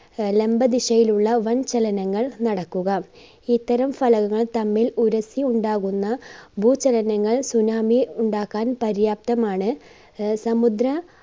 ആഹ് ലംബ ദിശയിലുള്ള വൻ ചലനങ്ങൾ നടക്കുക. ഇത്തരം ഫലകങ്ങൾ തമ്മിൽ ഉരസ്സി ഉണ്ടാകുന്ന ഭൂചലനങ്ങൾ tsunami ഉണ്ടാക്കാൻ പര്യാപ്തമാണ്. ആഹ് സമുദ്ര